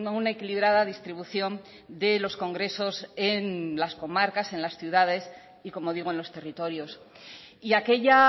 una equilibrada distribución de los congresos en las comarcas en las ciudades y como digo en los territorios y aquella